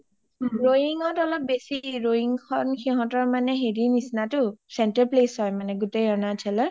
ৰোয়িংত অলপ বেছি ,ৰোয়িংত অলপ বেছি সিহতৰ মানে হেৰিৰ নিচিনাটো center place হয় মানে গোটেই আৰুণাচলৰ